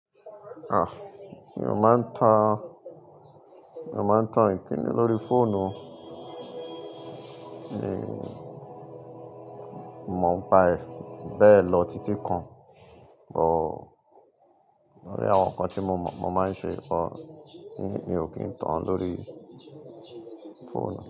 Ah! Mi ò máa ń tan, mi ò máa ń tan ìpín ní lórí fóònù. Mi mọ̀ ọ́n paẹ̀, bẹ́ẹ̀ lọ títí kan, but lori àwọn nǹkan tí mo mọ̀, mo máa ń ṣe lọ, mi ò kí ń tan án lórí fóònù.